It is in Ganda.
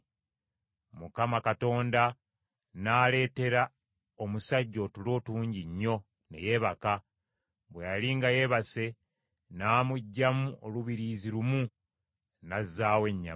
Mukama Katonda n’aleetera omusajja otulo tungi nnyo ne yeebaka; bwe yali nga yeebase n’amuggyamu olubirizi lumu, n’azzaawo ennyama.